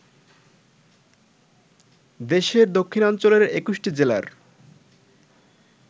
দেশের দক্ষিণাঞ্চলের ২১টি জেলার